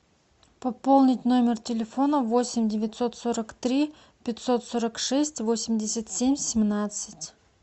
пополнить номер телефона восемь девятьсот сорок три пятьсот сорок шесть восемьдесят семь семнадцать